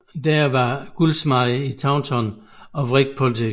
Dare var guldsmed i Taunton og Whig politiker